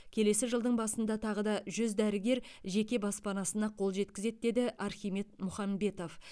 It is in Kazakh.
келесі жылдың басында тағы да жүз дәрігер жеке баспанасына қол жеткізеді деді архимед мұхамбетов